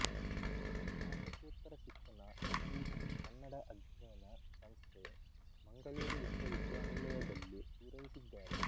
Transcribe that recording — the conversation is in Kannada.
ಸ್ನಾತಕೋತ್ತರ ಶಿಕ್ಷಣ ಎಸ್ ವಿ ಪಿ ಕನ್ನಡ ಅಧ್ಯಯನ ಸಂಸ್ಥೆ ಮಂಗಳೂರು ವಿಶ್ವವಿದ್ಯಾನಿಲಯದಲ್ಲಿ ಪೊರೈಸಿದ್ದಾರೆ